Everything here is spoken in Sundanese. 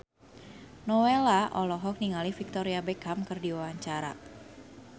Nowela olohok ningali Victoria Beckham keur diwawancara